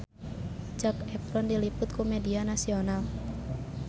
Zac Efron diliput ku media nasional